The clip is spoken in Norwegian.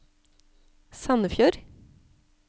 Sandefjord